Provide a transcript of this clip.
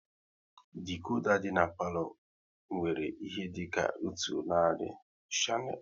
Dikoda dị n'palo nwere ihe dịka otu narị shanel